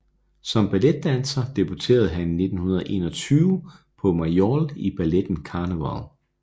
Som balletdanser debuterede han i 1921 på Mayol i balletten Carneval